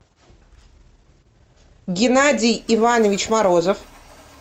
геннадий иванович морозов